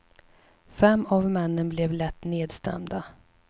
Fem av männen blev lätt nedstämda.